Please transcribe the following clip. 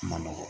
A ma nɔgɔn